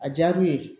A diyara u ye de